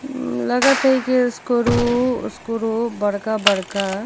अम् लगाथा ई कि स्क्रू ओस्क्रू बड़का - बड़का --